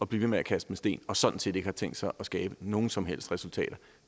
blive ved med at kaste med sten og sådan set ikke har tænkt sig at skabe nogen som helst resultater